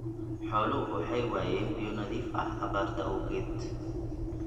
Xooluhu waxay waayeen biyo nadiif ah abaarta awgeed.